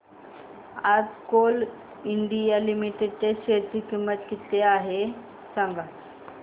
आज Coal India Limited च्या share ची किंमत किती आहे